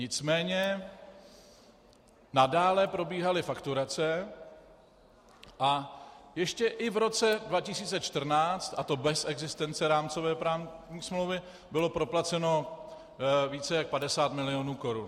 Nicméně nadále probíhaly fakturace a ještě i v roce 2014, a to bez existence rámcové právní smlouvy, bylo proplaceno více jak 50 milionů korun.